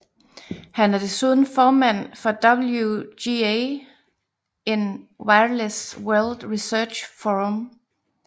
Han er desuden formand for WGA in Wireless World Research Forum